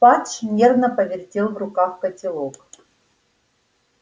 фадж нервно повертел в руках котелок